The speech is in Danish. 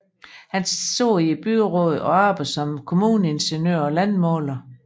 Han sad i byrådet og arbejdede som kommuneingeniør og landmåler